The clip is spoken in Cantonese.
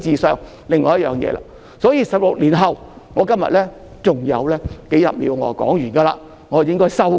所以，在16年後......我今天只多說數十秒便完結，然後我便可以"收工"。